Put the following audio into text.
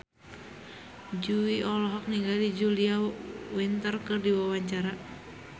Jui olohok ningali Julia Winter keur diwawancara